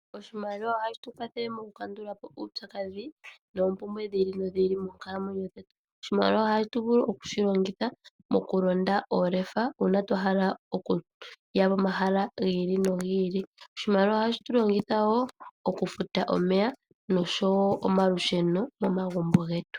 Oshimaliwa ohashi tukwathele mokukandulapo uupyakadhi noompumbwe dhi ili nodhili moonkalamwenyo dhetu. Oshimaliwa ohatu vulu okushilongitha mokulonda oolefa uuna twahala okuya pomahala giili nogili . Oshimaliwa ohatu shi longitha wo okufuta omeya noshowoo omalusheno momagumbo getu.